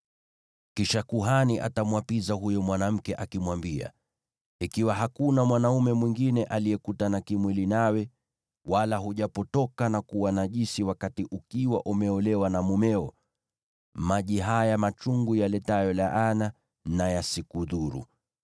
Kisha kuhani atamwapiza huyo mwanamke, akimwambia, “Ikiwa hakuna mwanaume mwingine aliyekutana kimwili nawe, wala hujapotoka na kuwa najisi wakati ukiwa umeolewa na mumeo, maji haya machungu yaletayo laana na yasikudhuru.